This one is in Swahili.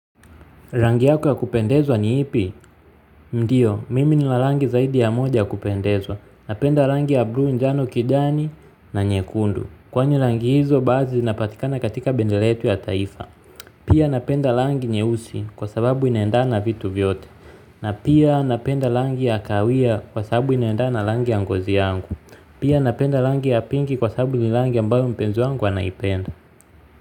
Rangi yako ya kupendezwa ni ipi? Ndiyo, mimi nina rangi zaidi ya moja ya kupendezwa. Napenda rangi ya buluu, njano kijani na nyekundu. Kwani rangi hizo, baadhi zinapatikana katika bendera yetu ya taifa. Pia napenda rangi nyeusi kwa sababu inaendana na vitu vyote. Na pia napenda rangi ya kahawia kwa sababu inaendana na rangi ya ngozi yangu. Pia napenda rangi ya pinki kwa sababu ni rangi ambayo mpenzi wangu anaipenda.